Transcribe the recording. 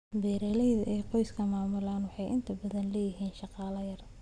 Beeralayda ay qoysku maamulaan waxay inta badan leeyihiin shaqaale yar.